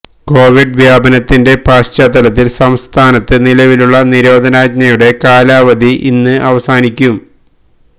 Covid വ്യാപനത്തിന്റെ പശ്ചാത്തലത്തില് സംസ്ഥാനത്ത് നിലവിലുള്ള നിരോധനാജ്ഞയുടെ കാലാവധി ഇന്ന് അവസാനിക്കും